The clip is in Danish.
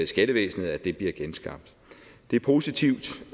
skattevæsenet at det bliver genskabt det er positivt